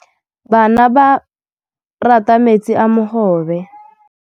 Bana ba rata metsi a mogobe.